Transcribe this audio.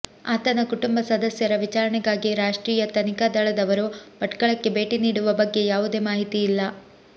ಆತನ ಕುಟುಂಬ ಸದಸ್ಯರ ವಿಚಾರಣೆಗಾಗಿ ರಾಷ್ಟ್ರೀಯ ತನಿಖಾ ದಳದವರು ಭಟ್ಕಳಕ್ಕೆ ಭೇಟಿ ನೀಡುವ ಬಗ್ಗೆ ಯಾವುದೇ ಮಾಹಿತಿ ಇಲ್ಲ